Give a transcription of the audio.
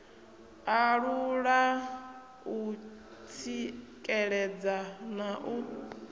alula u tsikeledza na u